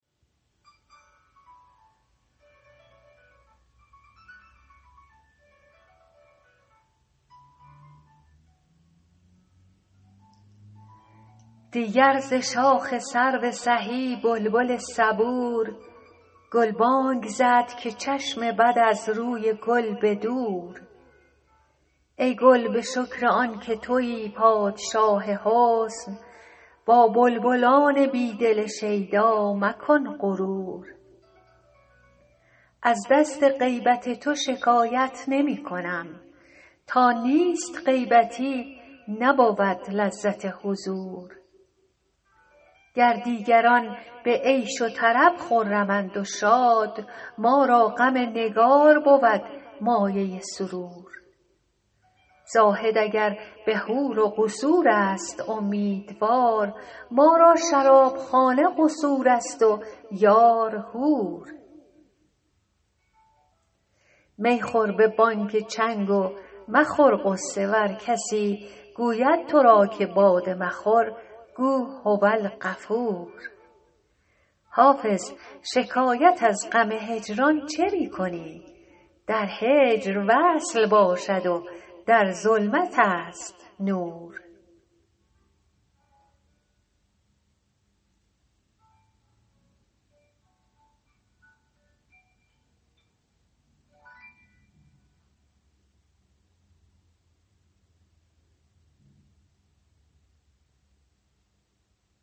دیگر ز شاخ سرو سهی بلبل صبور گلبانگ زد که چشم بد از روی گل به دور ای گل به شکر آن که تویی پادشاه حسن با بلبلان بی دل شیدا مکن غرور از دست غیبت تو شکایت نمی کنم تا نیست غیبتی نبود لذت حضور گر دیگران به عیش و طرب خرمند و شاد ما را غم نگار بود مایه سرور زاهد اگر به حور و قصور است امیدوار ما را شرابخانه قصور است و یار حور می خور به بانگ چنگ و مخور غصه ور کسی گوید تو را که باده مخور گو هوالغفور حافظ شکایت از غم هجران چه می کنی در هجر وصل باشد و در ظلمت است نور